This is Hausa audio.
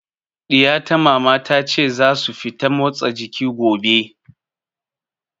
Ɗiya ta Mama, ta ce za su fita motsa jiki gobe.